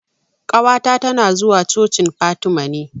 Ƙawata ta na zuwa cocin Fatima ne